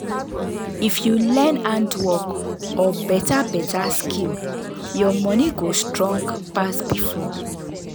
if you learn handwork or beta beta skill your money go strong pass before.